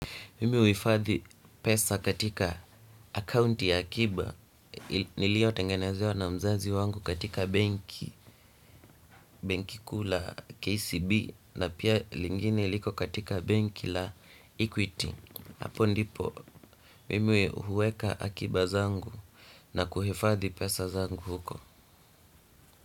Mimu huhifadhi pesa katika accounti ya akiba niliotengenezewa na mzazi wangu katika banki, benki kuu la KCB na pia lingine liko katika benki la equity. Hapo ndipo mimi huweka akiba zangu na kuhifadhi pesa zangu huko.